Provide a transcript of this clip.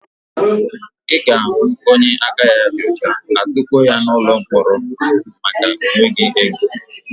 Ị ga-ahụ onye aka ya dị ọcha, a tukpuo ya n'ụlọ mkpọrọ maka na ọ nweghị ego.